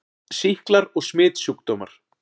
SÝKLAR OG SMITSJÚKDÓMAR